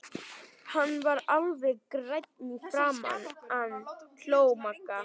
Hann varð alveg grænn í fram- an! hló Magga.